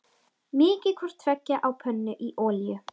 Mýkið hvort tveggja á pönnu í olíu.